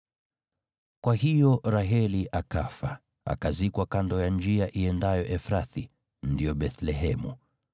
Kwa hiyo Raheli akafa, akazikwa kando ya njia iendayo Efrathi (ndio Bethlehemu).